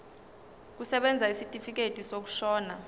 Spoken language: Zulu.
kusebenza isitifikedi sokushona